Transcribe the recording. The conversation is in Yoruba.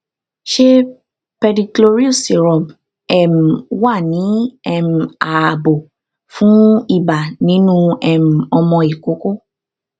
ṣé pedicloryl syrup um wà ní um ààbò fún ibà nínú um ọmọ ìkókó